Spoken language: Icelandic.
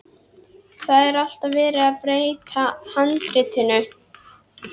Það er alltaf verið að breyta handritinu.